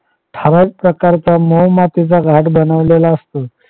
हवाज प्रकारचा मोहमातीचा घाट बनवलेला असतो.